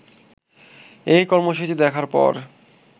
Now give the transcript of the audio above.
এই কর্মসূচি দেখার পর